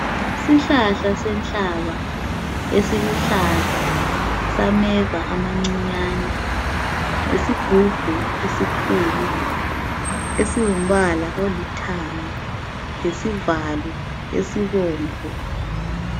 Isihlahla senhlaba esiluhlaza sameva amancinyane lesigubhu esikhulu esingumbala olithanga lesivalo esibomvu.